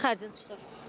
Nə qədər xərcin çıxır?